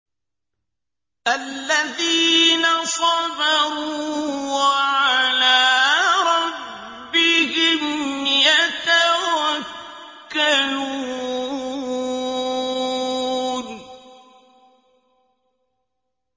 الَّذِينَ صَبَرُوا وَعَلَىٰ رَبِّهِمْ يَتَوَكَّلُونَ